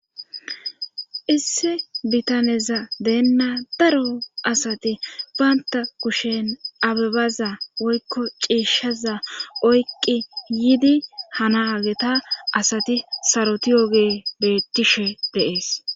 issi bitaneza deenna daro asati baynta kushen abebaza woykko cieshaza oyqqi yiidi hana ageta asati sarotiyoge beettishe deees